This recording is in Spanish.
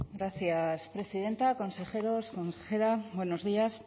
gracias presidenta consejeros consejera buenos días